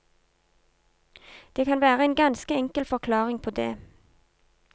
Det kan være en ganske enkel forklaring på det.